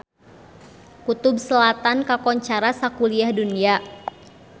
Kutub Selatan kakoncara sakuliah dunya